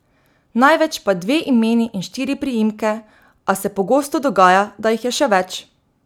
Največ pa dve imeni in štiri priimke, a se pogosto dogaja, da jih je še več.